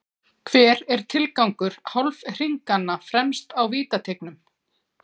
Hver er tilgangur hálfhringanna fremst á vítateigunum?